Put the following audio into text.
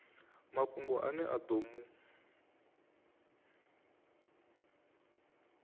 mafhungo ane a ḓo mu